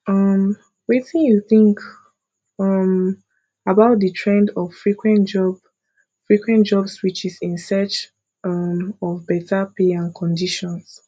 um wetin you think um about di trend of frequent job frequent job switches in search um of beta pay and conditions